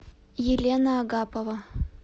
елена агапова